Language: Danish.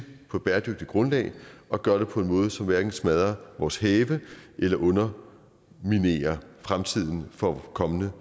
på et bæredygtigt grundlag og gør det på en måde som hverken smadrer vores have eller underminerer fremtiden for kommende